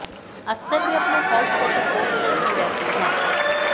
अक्सर वे अपने हॉट फोटो पोस्ट करती रहती हैं